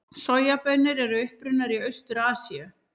Sojabaunir eru upprunnar í Austur-Asíu.